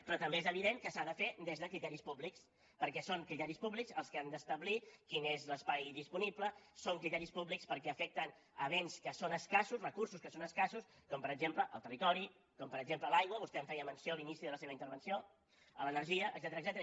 però també és evident que s’ha de fer des de criteris públics perquè són criteris públics els que han d’establir quin és l’espai disponible són criteris públics perquè afecten béns que són escassos recursos que són escassos com per exemple el territori com per exemple l’aigua vostè en feia menció a l’inici de la seva intervenció l’energia etcètera